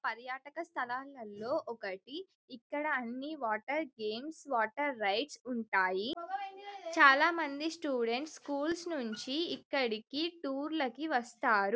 పర్యాటక స్థలంలో ఇది ఒకటి ఇక్కడ న్నీ గేమ్స్ వాటర్ రైడ్స్ ఉంటాయి చాల మంది స్కూల్ లో నుండి ఇక్కడికి వస్తారు.